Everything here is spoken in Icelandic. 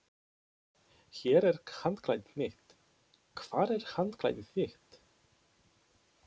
Hér er handklæðið mitt. Hvar er handklæðið þitt?